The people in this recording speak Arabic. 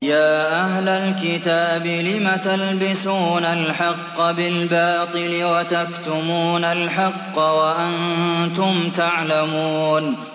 يَا أَهْلَ الْكِتَابِ لِمَ تَلْبِسُونَ الْحَقَّ بِالْبَاطِلِ وَتَكْتُمُونَ الْحَقَّ وَأَنتُمْ تَعْلَمُونَ